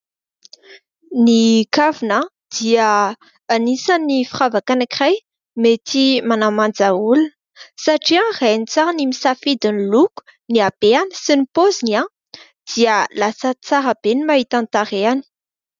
Ny kavina dia anisan'ny firavaka anankiray mety manamanja olona satria raha hainy tsara ny misafidy ny loko, ny habeny sy ny paoziny dia lasa tsara be ny mahita ny tarehany.